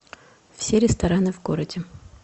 все рестораны в городе